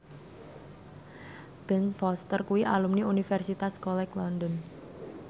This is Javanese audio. Ben Foster kuwi alumni Universitas College London